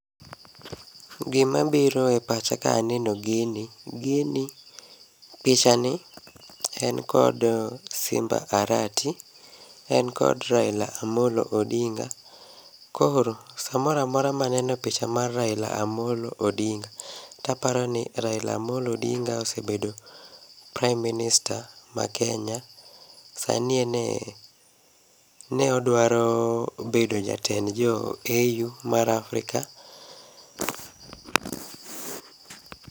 Gima biro e pacha ka aneno gini. Gini, picha ni en kod Simba Arati, en kod Raila Amollo Odinga. Koro, samoramora maneno picha mar Raila Amollo Odinga, taparoni Raila Amollo Odinga osebedo Prime Minister ma Kenya. Sani ene, ne odwaro bedo jatend jo AU mar Afrika.